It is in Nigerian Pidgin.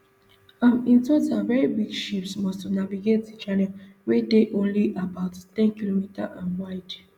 um in total very big ships must to navigate di channel wey dey only about ten km um wide